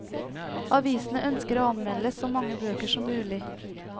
Avisene ønsker å anmelde så mange bøker som mulig.